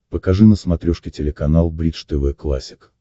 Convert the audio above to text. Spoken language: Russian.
покажи на смотрешке телеканал бридж тв классик